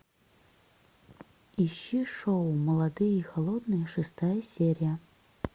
ищи шоу молодые и холодные шестая серия